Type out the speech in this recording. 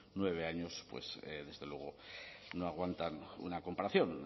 nueve años pues desde luego no aguantan una comparación